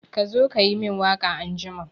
Ka zo ka yi min waka anjima!